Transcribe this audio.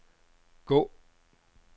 gå